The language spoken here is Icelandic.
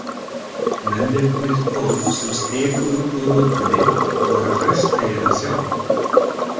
Mennirnir tólf sem stigu út úr rútunni voru hraustlegir að sjá.